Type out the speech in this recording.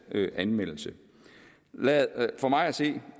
anmeldelse for mig at se